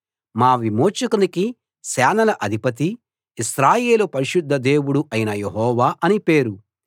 మా విమోచకునికి సేనల అధిపతి ఇశ్రాయేలు పరిశుద్ధ దేవుడు అయిన యెహోవా అని పేరు